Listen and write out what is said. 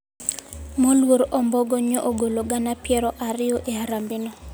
Moluor ombogo nyo ogolo gana piero ariyo e harambe no